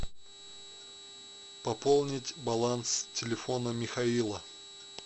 пополнить баланс телефона михаила